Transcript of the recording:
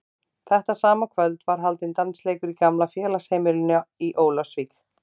Þetta sama kvöld var haldinn dansleikur í gamla félagsheimilinu í Ólafsvík.